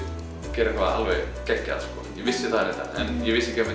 gera eitthvað alveg geggjað ég vissi það reyndar en ég vissi ekki að